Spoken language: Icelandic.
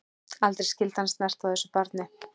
Aldrei skyldi hann snerta á þessu barni.